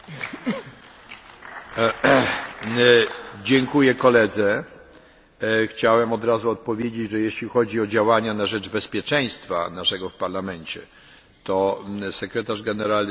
Chciałem od razu odpowiedzieć, że jeśli chodzi o działania na rzecz naszego bezpieczeństwa w Parlamencie to sekretarz generalny i pani zastępca sekretarza generalnego podejmują liczne wysiłki w tym kierunku.